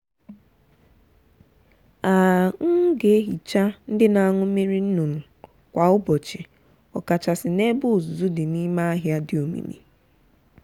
a um ga-ehicha ndị na-aṅụ mmiri nnụnụ kwa ụbọchị ọkachasị n’ebe uzuzu dị n’ime ahịhịa dị omimi.